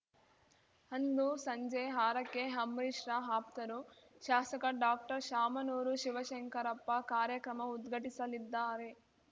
ಅಂದು ಸಂಜೆ ಆರಕ್ಕೆ ಅಂಬರೀಶ್‌ರ ಆಪ್ತರು ಶಾಸಕ ಡಾಕ್ಟರ್ಶಾಮನೂರು ಶಿವಶಂಕರಪ್ಪ ಕಾರ್ಯಕ್ರಮ ಉದ್ಘಟಿಸಲಿದ್ದಾರೆ